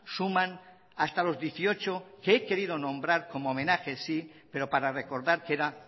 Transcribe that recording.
suman hasta los dieciocho que he querido nombrar como homenaje sí pero para recordar que era